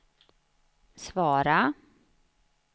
svara